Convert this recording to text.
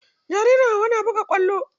Jaririn Hauwa na buga kwallo.